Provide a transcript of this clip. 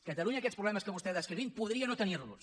catalunya aquests problemes que vostè ha descrit podria no tenirlos